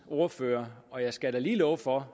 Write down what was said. ordfører og jeg skal da lige love for